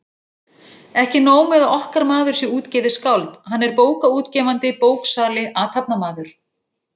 Ekki nóg með að okkar maður sé útgefið skáld, hann er bókaútgefandi, bóksali, athafnamaður!